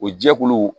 O jɛkulu